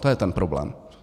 To je ten problém.